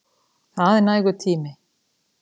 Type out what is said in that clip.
Það er nægur tími.